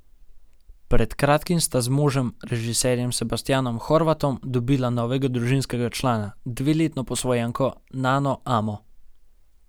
Pred kratkim sta z možem, režiserjem Sebastijanom Horvatom, dobila novega družinskega člana, dveletno posvojenko Nano Amo.